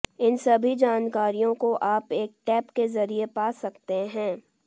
इन सभी जानकारियों को आप एक टैप के जरिए पा सकते हैं